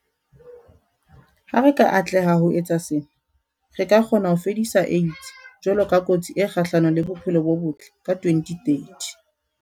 Ha re ka atleha ho etsa sena, re ka kgona ho fedisa AIDS jwalo ka kotsi e kgahlano le bophelo bo botle ka 2030.